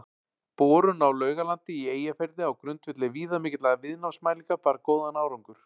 Borun á Laugalandi í Eyjafirði á grundvelli viðamikilla viðnámsmælinga bar góðan árangur.